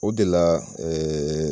O de la